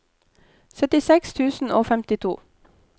syttiseks tusen og femtito